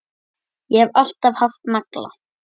Ég hef alltaf haft nagla.